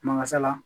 Mankasa la